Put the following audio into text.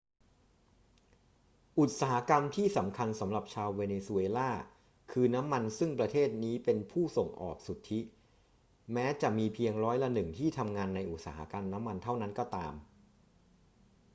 อุตสาหกรรมที่สำคัญสำหรับชาวเวเนซุเอลาคือน้ำมันซึ่งประเทศนี้เป็นผู้ส่งออกสุทธิ แม้จะมีเพียงร้อยละหนึ่งที่ทำงานในอุตสาหกรรมน้ำมันเท่านั้นก็ตาม